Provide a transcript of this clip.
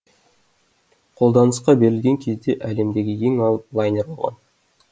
қолданысқа берілген кезде әлемдегі ең алып лайнер болған